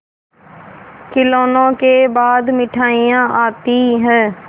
खिलौनों के बाद मिठाइयाँ आती हैं